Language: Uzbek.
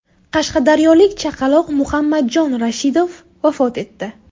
Qashqadaryolik chaqaloq Muhammadjon Rashidov vafot etdi .